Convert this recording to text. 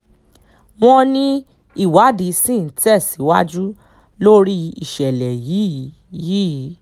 wọ́n ní ìwádìí ṣì ń tẹ̀síwájú lórí ìṣẹ̀lẹ̀ yìí yìí